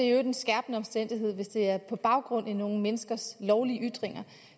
øvrigt en skærpende omstændighed hvis det er på baggrund af nogle menneskers lovlige ytringer